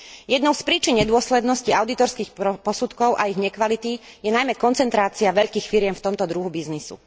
Jednou z príčin nedôslednosti audítorských posudkov a ich nekvality je najmä koncentrácia veľkých firiem v tomto druhu biznisu.